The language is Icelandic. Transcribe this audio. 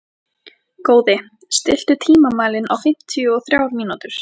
Góði, stilltu tímamælinn á fimmtíu og þrjár mínútur.